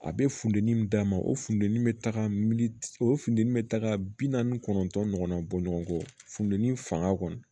A bɛ funteni min d'a ma o funteni bɛ taga miliyɔn o funteni bɛ taga bi naani ni kɔnɔntɔn ɲɔgɔnna bɔ ɲɔgɔn kɔ fundɛni fanga kɔni